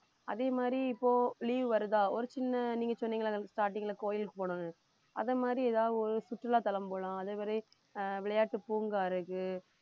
அதே மாதிரி இப்போ leave வருதா ஒரு சின்ன நீங்க சொன்னீங்கல்ல அந்த starting ல கோயிலுக்கு போகணும்னு அதை மாதிரி ஏதாவது ஒரு சுற்றுலாத்தலம் போலாம் அதே மாதிரி ஆஹ் விளையாட்டு பூங்கா இருக்கு